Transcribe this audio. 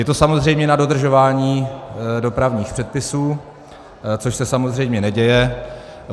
Je to samozřejmě na dodržování dopravních předpisů, což se samozřejmě neděje.